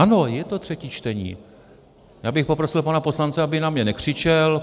Ano, je to třetí čtení, já bych poprosil pana poslance, aby na mě nekřičel.